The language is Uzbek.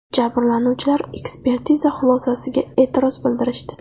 Jabrlanuvchilar ekspertiza xulosasiga e’tiroz bildirishdi.